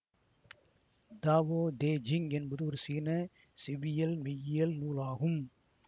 Tao Te Ching என்பது ஒரு சீன செவ்வியல் மெய்யியல் நூல் ஆகும்